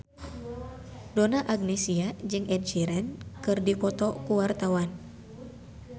Donna Agnesia jeung Ed Sheeran keur dipoto ku wartawan